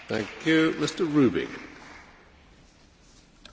Herr Präsident, sehr geehrter Herr Kommissar, meine sehr geehrten Damen und Herren!